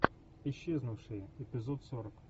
исчезнувшие эпизод сорок